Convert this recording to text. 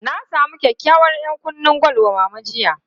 Na samu kyakykyawar 'yankunnen gwal wa Mama jiya.